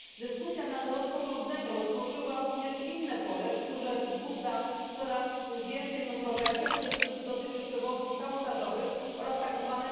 Dyskusja nad rozporządzeniem otworzyła również inne pole, które wzbudza coraz więcej kontrowersji, a które dotyczy przewozów kabotażowych oraz tzw.